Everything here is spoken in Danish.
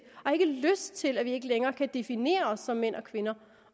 lyst til at vi ikke længere kan definere os som mænd og kvinder